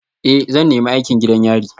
Ee, zan nemi aikin gidan yari